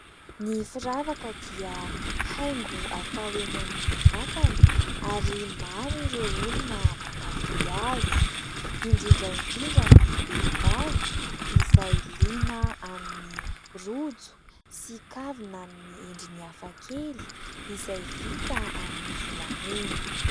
Ny firavaka dia haingo atao eny amin'ny vatana. Ary maro ireo olona mankafy azy ; indrindra indrindra ny vehivavy izay liana amin'ny rojo sy kavina amin'ny endrin'ny hafakely, izay vita amin'ny volamena.